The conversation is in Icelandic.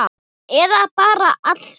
Eða bara alls ekki.